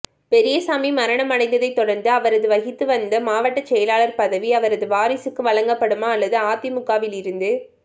பெரியசாமி மரணமடைந்ததைத் தொடர்ந்து அவர் வகித்து வந்த மாவட்டச் செயலர் பதவி அவரது வாரிசுக்கு வழங்கப்படுமா அல்லது அதிமுகவில் இருந்து